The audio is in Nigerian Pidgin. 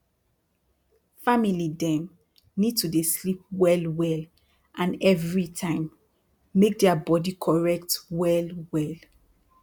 family dem need to dey sleep well well and everi time make dia bodi correct well well